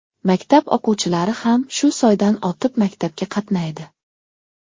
Maktab o‘quvchilari ham shu soydan o‘tib maktabga qatnaydi.